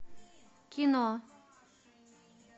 кино